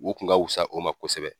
O kun ka wusa o ma kosɛbɛ.